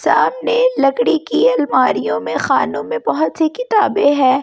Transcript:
सामने लकड़ी की अलमारियों में खानों में बहुत सी किताबें हैं बच--